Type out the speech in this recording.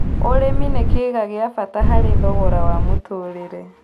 Ũrĩmĩ nĩ kĩĩga gĩa bata harĩ thogora wa mũtũrĩre